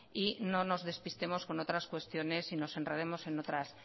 y no nos despistemos con otras cuestiones y nos enredemos